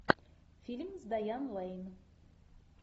фильм с дайан лэйн